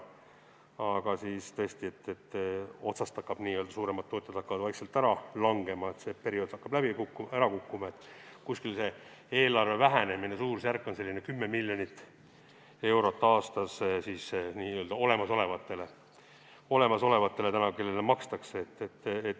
Aga tõesti, suuremad tootjad hakkavad vaikselt ära langema, see periood hakkab läbi saama, eelarve vähenemise suurusjärk on 10 miljonit eurot aastas, pean silmas olemasolevaid, kellele makstakse.